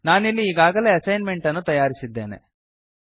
ನಾನಿಲ್ಲಿ ಈಗಾಗಲೇ ಅಸೈನ್ಮೆಂಟ್ ಅನ್ನು ತಯಾರಿಸಿದ್ದೇನೆ